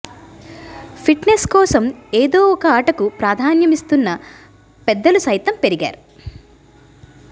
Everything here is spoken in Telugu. ఫిట్నెస్ కోసం ఏదో ఒక ఆటకు ప్రాధాన్యమిస్తోన్న పెద్దలు సైతం పెరిగారు